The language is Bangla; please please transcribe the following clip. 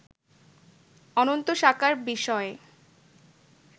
অন্তত সাকার বিষয়ে